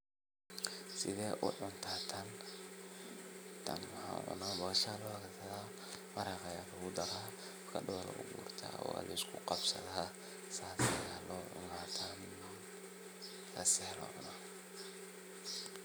Sidee u cunta tan. tan waxan u cunaa boosha lokarsadaa maraqaa Aya lagudarayaa avokada laguguraa oo walaiskuqabsadaa sas ayaa loocuna tan sas ayaa loocuna tan.